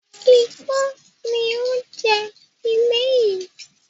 Ikán ni ó ń jẹ ilé yii